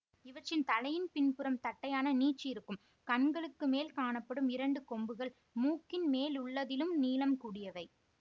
இவற்றின் தலையின் பின்புறம் தட்டையான நீட்சி இருக்கும் கண்களுக்கு மேல் காணப்படும் இரண்டு கொம்புகள் மூக்கின் மேலுள்ளதிலும் நீளம் கூடியவை